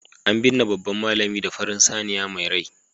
an binne babban malami da farin saniya mai rai